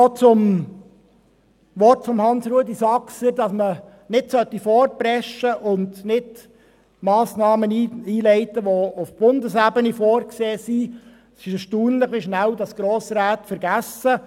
Zu den Worten von Grossrat Saxer, wonach man nicht vorpreschen und nicht Massnahmen einleiten solle, welche auf Bundesebene vorgesehen sind: Es ist erstaunlich, wie schnell Grossräte vergessen.